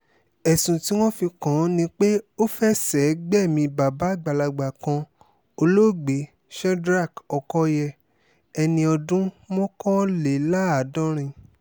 ẹ̀sùn tí wọ́n fi kàn án ni pé ó fẹsẹ̀ gbẹ̀mí bàbá àgbàlagbà kan olóògbé shedrack ọkọyé ẹni ọdún mọ́kànléláàádọ́rin